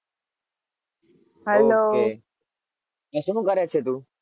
શું કરે છે તું?